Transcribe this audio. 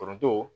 Foronto